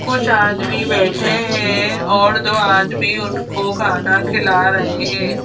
कुछ आदमी बैठे हैं और दो आदमी उनको खाना खिला रहे हैं।